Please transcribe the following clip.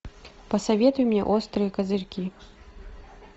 посоветуй мне острые козырьки